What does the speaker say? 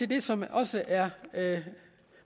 det som også er